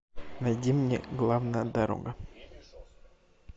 найди мне главная дорога